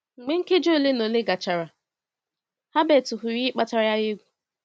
Mgbe nkeji ole na ole gachara, Herbert hụrụ ihe kpatara ya egwu.